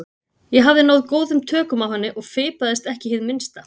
Ég hafði náð góðum tökum á henni og fipaðist ekki hið minnsta.